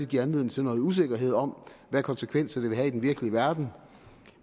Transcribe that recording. give anledning til noget usikkerhed om hvad konsekvenser det vil have i den virkelige verden